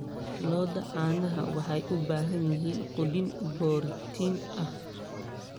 Lo'da caanaha waxay u baahan yihiin quudin borotiin ah.